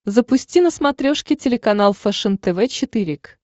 запусти на смотрешке телеканал фэшен тв четыре к